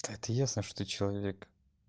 да это ясно что человек